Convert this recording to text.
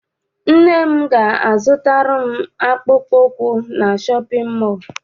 Nne m ga a zụtara m akpụkpọ ụkwụ na shọpịn mọọ.